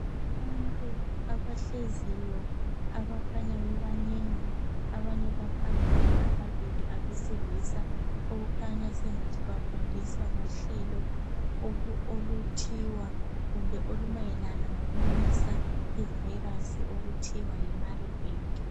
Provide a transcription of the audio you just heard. Abantu abahleziyo abakhanya bebanengi abanye baphambili ababili abesilisa okukhanya sengathi bafundisa ngohlelo oluthiwa kumbe olumayelana ngokumisa ivirus okuthiwa yi marburg.